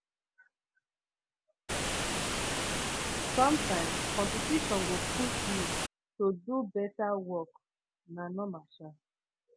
sometimes competition go push you to do better work na normal um